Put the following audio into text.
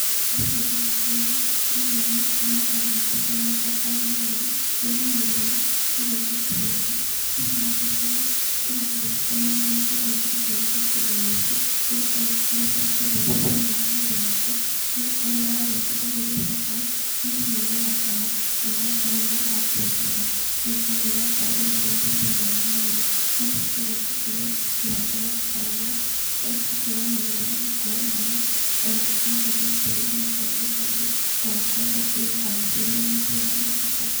Thĩiniĩ wa mbica ĩno, ndĩrona mũtumia anyitĩte mababaĩ merĩ, rĩmwe nĩ rĩru, rĩu rĩngĩ ti rĩru. Thĩniĩ wa mbica ĩno ĩrandirikania marĩ ngereire ngĩhũthĩra kĩndũ gĩkĩ, nĩgũkorwo nĩgĩkoretwo gĩkĩndeithia thĩiniĩ wa mwĩrĩ wakwa. Nĩgũkorwo rĩrĩa warĩa itunda rĩrĩ rĩa ibabaĩ mwĩrĩ nĩũnyorokaga, ona ũgakorwo wĩ na abia njega. Nĩ gũkorwo nĩrĩrakorwo rĩgĩteithia thĩiniĩ wa mwĩrĩ. Marĩa tũgereire tũkĩhanda mababaĩ maya, nĩtũkoretwo tũkĩmamenyerera na kũhe maĩ, ona gũkorwo tũgĩitĩrĩria kaingĩ kaingĩ, ona gũkorwo tũkĩũbacĩrĩra mũtĩ ũyũ wa mababaĩ.